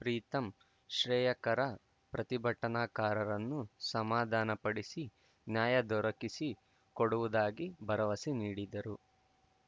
ಪ್ರೀತಂ ಶ್ರೇಯಕರ ಪ್ರತಿಭಟನಾಕಾರರನ್ನು ಸಮಾಧಾನ ಪಡಿಸಿ ನ್ಯಾಯ ದೊರಕಿಸಿ ಕೊಡುವುದಾಗಿ ಭರವಸೆ ನೀಡಿದರು